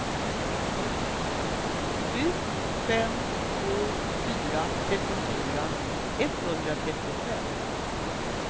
sju fem två fyra trettiofyra etthundratrettiofem